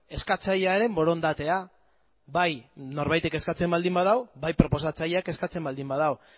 eskatzailearen borondatea bai norbaitek eskatzen baldin badu bai proposatzaileak eskatzen baldin badu